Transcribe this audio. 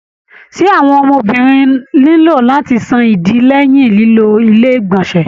Ṣé àwọn ọmọbìnrin nilo láti sàn ìdí lẹyìn lilo ilé igbọnsẹ.